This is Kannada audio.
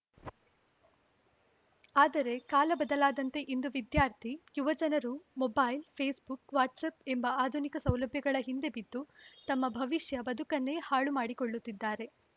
ಆದರೆ ಕಾಲ ಬದಲಾದಂತೆ ಇಂದು ವಿದ್ಯಾರ್ಥಿ ಯುವ ಜನರು ಮೊಬೈಲ್‌ ಫೇಸ್‌ ಬುಕ್‌ ವಾಟ್ಸಪ್‌ ಎಂಬ ಆಧುನಿಕ ಸೌಲಭ್ಯಗಳ ಹಿಂದೆ ಬಿದ್ದು ತಮ್ಮ ಭವಿಷ್ಯ ಬದುಕನ್ನೇ ಹಾಳು ಮಾಡಿಕೊಳ್ಳುತ್ತಿದ್ದಾರೆ